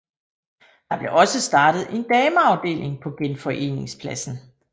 Der blev også startet en dameafdeling på Genforeningspladsen